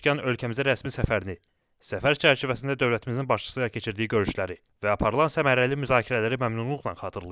Məsud Pezeşkan ölkəmizə rəsmi səfərini, səfər çərçivəsində dövlətimizin başçısı ilə keçirdiyi görüşləri və aparılan səmərəli müzakirələri məmnunluqla xatırlayıb.